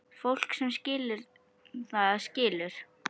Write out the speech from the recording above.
Fólk sem skilur, það skilur.